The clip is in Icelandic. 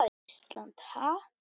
Ísland, ha?